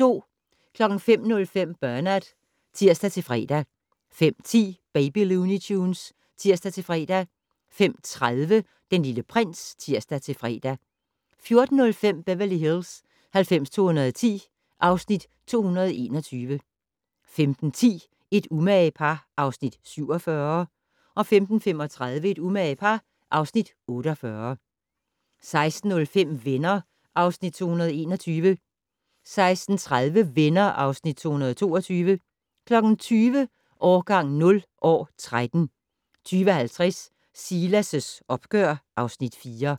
05:05: Bernard (tir-fre) 05:10: Baby Looney Tunes (tir-fre) 05:30: Den Lille Prins (tir-fre) 14:05: Beverly Hills 90210 (Afs. 221) 15:10: Et umage par (Afs. 47) 15:35: Et umage par (Afs. 48) 16:05: Venner (Afs. 221) 16:30: Venner (Afs. 222) 20:00: Årgang 0 - år 13 20:50: Silas' opgør (Afs. 4)